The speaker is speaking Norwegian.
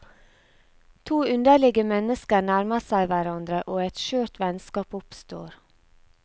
To underlige mennesker nærmer seg hverandre og et skjørt vennskap oppstår.